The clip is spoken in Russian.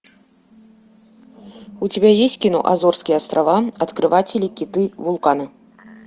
у тебя есть кино азорские острова открыватели киты вулканы